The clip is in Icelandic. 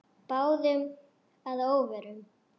Báðum að óvörum.